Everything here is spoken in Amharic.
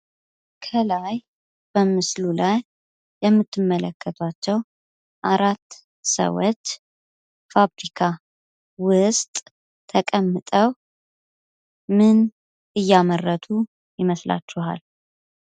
ከላይ በምስሉ ላይ የምትመለከቷቸው አራት ሰዎች ፋብሪካ ውስጥ ተቀምጠው ምን እያመረቱ ይመስላችኋል?